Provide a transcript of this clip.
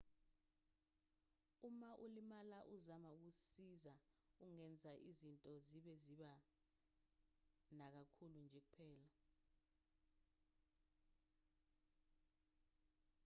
uma ulimala uzama ukusiza ungenza izinto zibe zibi nakakhulu nje kuphela